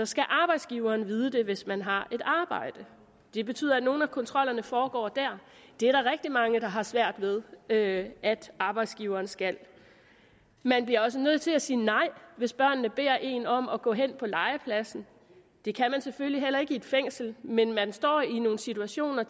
skal arbejdsgiveren vide det hvis man har arbejde det betyder at nogle af kontrollerne foregår der det er der rigtig mange der har svært ved at arbejdsgiveren skal man bliver også nødt til at sige nej hvis børnene beder en om at gå hen på legepladsen det kan man selvfølgelig heller ikke i et fængsel men man står tit i nogle situationer